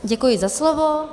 Děkuji za slovo.